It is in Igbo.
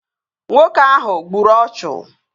Nwoke ahụ gburu ọchụ